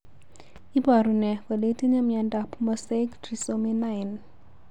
Iporu ne kole itinye miondap mosaic trisomy 9?